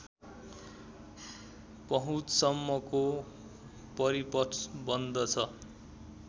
पहुँचसम्मको परिपथ बन्दछ